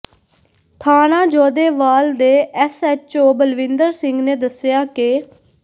ਥਾਣਾ ਜੋਧੇਵਾਲ ਦੇ ਐਸਐਚਓ ਬਲਵਿੰਦਰ ਸਿੰਘ ਨੇ ਦੱਸਿਆ ਕਿ